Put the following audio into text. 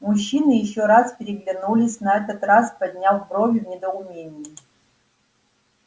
мужчины ещё раз переглянулись на этот раз подняв брови в недоумении